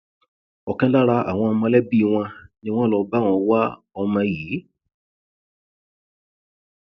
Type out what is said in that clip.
ọkan lára àwọn mọlẹbí wọn ni wọn lọ bá wọn wá ọmọ yìí